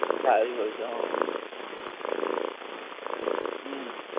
સારી હોય છે હં. હુંમ